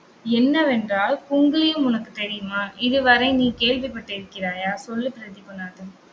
என்னவென்றால் குங்கிலியம் உனக்கு தெரியுமா? இதுவரை நீ கேள்விப்பட்டிருக்கிறாயா? சொல்லு பிரதீபநாதன்